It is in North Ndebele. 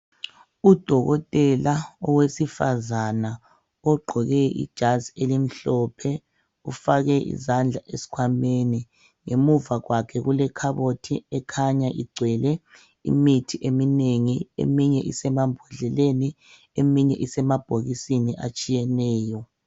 Udokotela owesifazana ogqqoke ijazi elimhlophe ufake izandla esikhwameni ngemuva kwakhe kulekhabothi ekhanya igcwele imithi eminengi eminye isemambodleleni eminye isemabhokisini atshiyeneyo.